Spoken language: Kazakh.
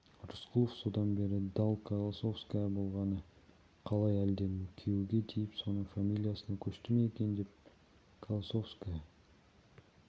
рысқұлов содан бері дал колосовская болғаны қалай әлде күйеуге тиіп соның фамилиясына көшті ме екен колосовская